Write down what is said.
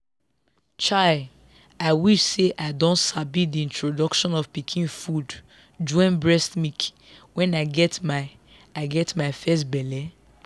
chai i wish say i don sabi the introduction of pikin food join breast milk when i get my i get my first belle.